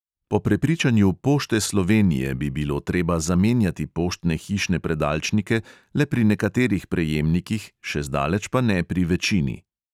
Po prepričanju pošte slovenije bi bilo treba zamenjati poštne hišne predalčnike le pri nekaterih prejemnikih, še zdaleč pa ne pri večini.